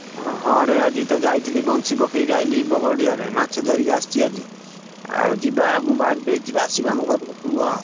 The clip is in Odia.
ଅ ହଁ ରେ ଆଜି ତ ଯାଇଥିଲି ବଞ୍ଛି ପକେଇ ଆଇଲି ବଢିଆରେ ମାଛ ଧରିକି ଆସିଛି ଆଜି ଆଉ ଯିବା ମୁଁ ବାହାରକୁ ଆସିଛି ଆସିବ ଆମ ଘର ପାଖକୁ ଆଉ।